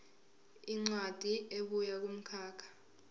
incwadi ebuya kumkhakha